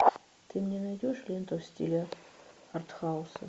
ты мне найдешь ленту в стиле арт хауса